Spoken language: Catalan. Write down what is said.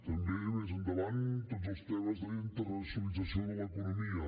també més endavant tots els temes d’internacionalització de l’economia